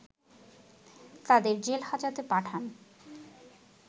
তাদের জেলহাজতে পাঠান